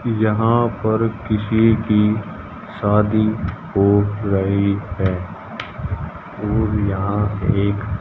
यहां पर किसी की शादी हो रही है और यहां एक--